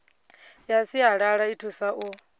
ya sialala i thusa u